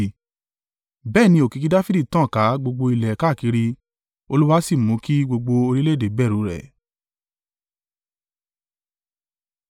Bẹ́ẹ̀ ni òkìkí Dafidi tàn ká gbogbo ilẹ̀ káàkiri, Olúwa sì mú kí gbogbo orílẹ̀-èdè bẹ̀rù rẹ̀.